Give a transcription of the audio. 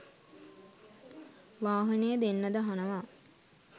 වාහනේ දෙන්නද අහනවා.